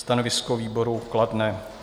Stanovisko výboru kladné.